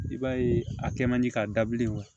I b'a ye a kɛ man di k'a dabilen wa